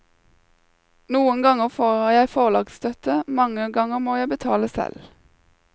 Noen ganger får jeg forlagsstøtte, mange ganger må jeg betale selv.